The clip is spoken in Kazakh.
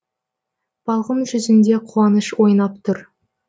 балғын жүзінде қуаныш ойнап тұр